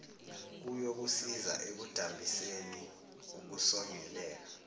kuyokusiza ekudambiseni ukusongeleka